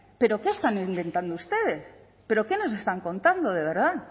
pero qué están inventando ustedes pero qué nos están contando de verdad